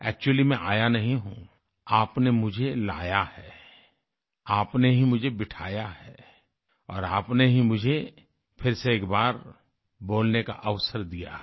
Actually मैं आया नहीं हूँ आपने मुझे लाया है आपने ही मुझे बिठाया है और आपने ही मुझे फिर से एक बार बोलने का अवसर दिया है